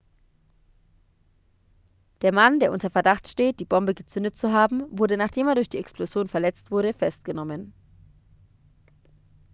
der mann der unter verdacht steht die bombe gezündet zu haben wurde nachdem er durch die explosion verletzt wurde festgenommen